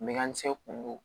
Me ka mise k'olu